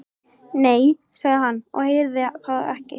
Nei, sagði hann, ég heyrði það ekki.